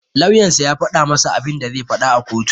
Lauyan sa ya faɗa masa abinda zai faɗa a kotu.